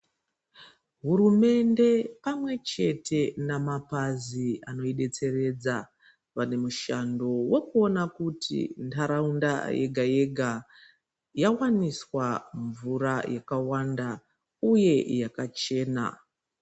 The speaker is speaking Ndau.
Hurumende pamwechete namapazi anoibetseredza vane mushando wekuona kuti ndaraunda yega yega yawaniswa mvura yakawanda uye yakachena.